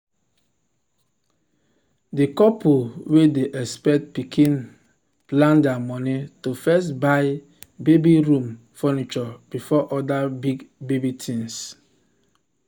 di couple wey dey expect pikin plan their money to first buy baby room furniture before other big baby things.